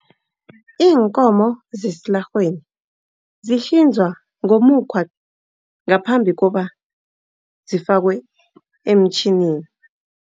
Iinkomo zesilarheni, zihlinzwa ngomukhwa ngaphambi kobana zifakwe emtjhinini.